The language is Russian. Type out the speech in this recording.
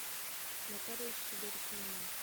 нотариус сидоркина на